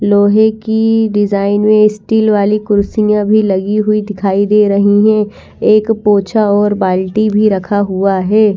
लोहे की डिजाईन है स्टील वाली कुर्सी में अभी लगी हुई दिखाई दे रही है एक पोछा और बाल्टी भी रखा हुआ है।